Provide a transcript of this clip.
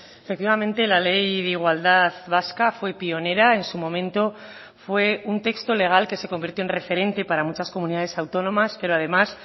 efectivamente la ley de igualdad vasca fue pionera en su momento fue un texto legal que se convirtió en referente para muchas comunidades autónomas pero además